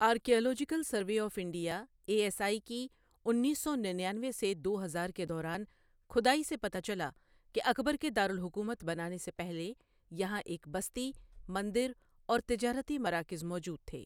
Archaeological survey of India A S I کی انیس سو ننیانوے سے دو ہزار کے دوران کھدائی سے پتہ چلا کہ اکبر کے دارالحکومت بنانے سے پہلے یہاں ایک بستی، مندر اور تجارتی مراکز موجود تھے۔